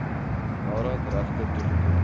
nadat regte toegeken